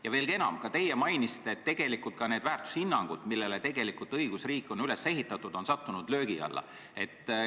Ja veelgi enam, ka teie mainisite, et tegelikult on need väärtushinnangud, millele õigusriik on üles ehitatud, sattunud löögi alla.